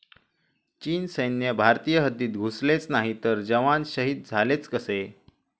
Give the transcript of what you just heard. चीन सैन्य भारतीय हद्दीत घुसलेच नाही तर जवान शहीद झालेच कसे?